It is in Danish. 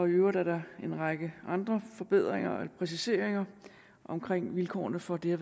øvrigt er der en række andre forbedringer og præciseringer omkring vilkårene for det